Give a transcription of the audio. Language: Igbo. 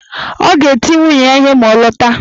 Ọ ga-eti nwunye ya ihe ma ọ lọta